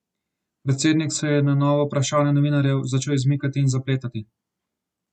Predsednik se je na nova vprašanja novinarjev začel izmikati in zapletati.